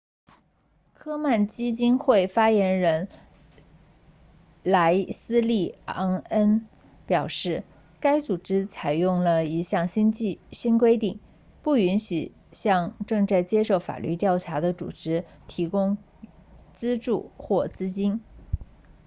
科曼基金会 komen foundation 发言人莱斯利昂恩 leslie aun 表示该组织采用了一项新规定不允许向正在接受法律调查的组织提供资助或资金